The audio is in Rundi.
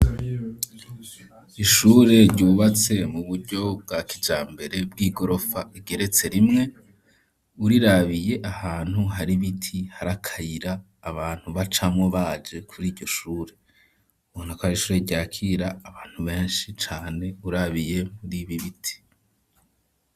Ishure ryubatse mu buryo bwa kijambere bw'igorofa igeretse rimwe urirabiye ahantu hari biti harakayira abantu bacamwo baje kuri iryo shure ubona ko ari ishure ryakira abantu benshi cane urabiye muri ibi biti.